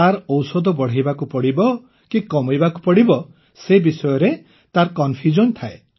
ତାର ଔଷଧ ବଢ଼େଇବାକୁ ପଡ଼ିବ କି କମେଇବାକୁ ପଡ଼ିବ ସେ ବିଷୟରେ ତାର କନଫ୍ୟୁଜନ ଥାଏ